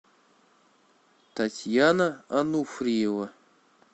татьяна ануфриева